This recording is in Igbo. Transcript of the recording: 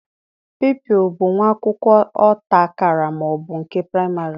Pụpịl bụ nwa akwụkwọ ọta akara ma ọ bụ nke praịmarị